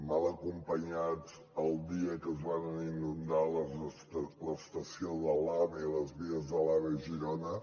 mal acompanyats el dia que es varen inundar l’estació de l’ave i les vies de l’ave a giro na